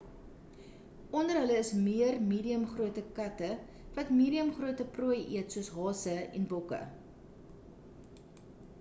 onder hulle is meer medium grootte katte wat medium grootte prooi eet soos hase en bokke